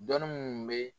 Dɔnni mun bɛ